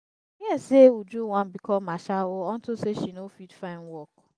i hear say uju wan become ashawo unto say she no fit find work